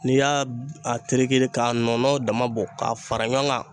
N'i y'a a tereke k'a nɔnɔ dama bɔn k'a fara ɲɔgɔn kan